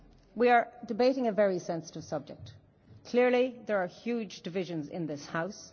We are debating a very sensitive subject. Clearly there are huge divisions in this House.